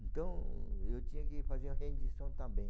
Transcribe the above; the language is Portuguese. Então, eu tinha que fazer a rendição também.